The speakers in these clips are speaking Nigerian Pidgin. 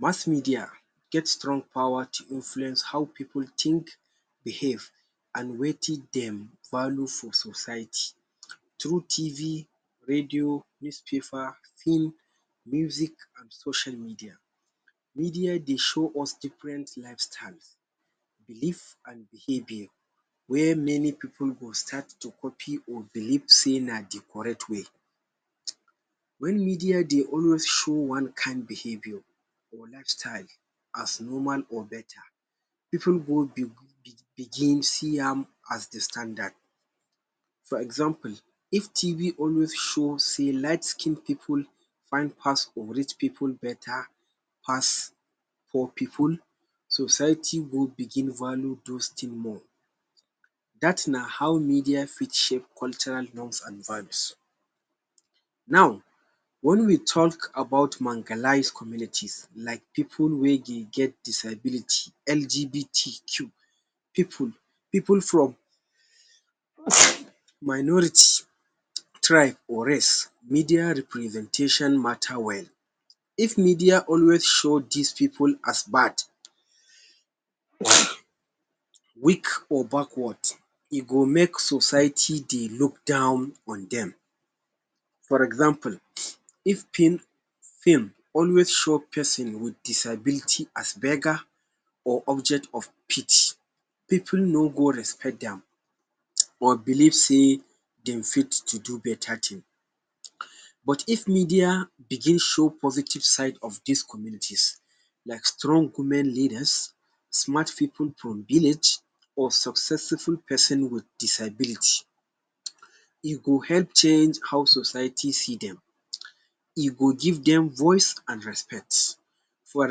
Mass media get strong power to influence how pipu think, behave, an wetin dem value for society through TV, radio, newspaper, film, music an social media. Media dey show us different lifestyles, belief an behaviour wey many pipu go start to copy or believe sey na the correct way. Wen media dey always show one kain behaviour or lifestyle as normal or beta, pipu go begin see am as the standard. For example, if TV always show sey lightskinned pipu fine pass or rich pipu beta pass poor pipu, society go begin value dos tin more. Dat na how media fit shape cultural norms an values. Now, wen we talk about communities like pipu wey dey get disability, LGBTQ, pipu pipu from minority tribe, or race, media representation matter well. If media always show dis pipu as bad, weak, or backward, e go make society dey look down on dem. For example, if film always show pesin with disability as beggar or object of pity, pipu no go respect dem or believe sey dem fit to do beta tin. But if media begin show positive side of dis communities like strong women leaders, smart pipu from village, or successful pesin with disability, e go help change how society see dem, e go give dem voice an respect. For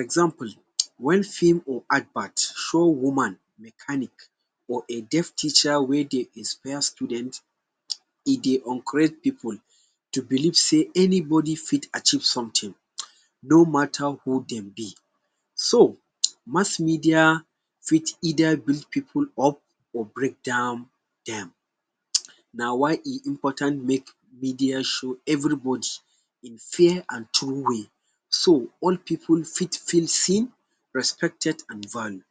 example, wen film or advert show woman mechanic, or a deaf teacher wey dey expel student, e dey encourage pipu to believe sey anybody fit achieve something no matter who dem be. So, mass media fit either bring pipu up or break down dem. Na why e important make media show everybody in fair an true way so all pipu fit feel seen, respected, an value.